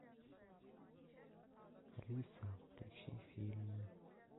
алиса включи фильмы